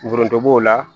Foronto b'o la